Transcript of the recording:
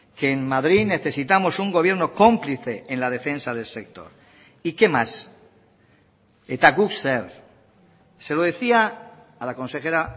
que en madrid necesitamos un gobierno cómplice en la defensa del sector y qué más eta guk zer se lo decía a la consejera